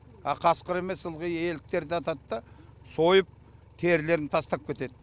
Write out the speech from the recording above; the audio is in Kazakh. а қасқыр емес ылғи еліктерді атады да сойып терілерін тастап кетеді